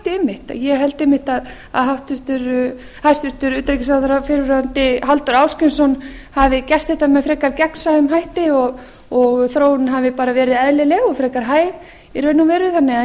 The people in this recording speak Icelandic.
með þeim hætti einmitt ég held einmitt að hæstvirtur utanríkisráðherra fyrrverandi halldór ásgrímsson hafi gert þetta með frekar gegnsæjum hætti og þróunin hafi bara verið eðlileg og frekar hæg í raun